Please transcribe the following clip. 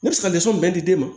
Ne bɛ se ka bɛɛ di den ma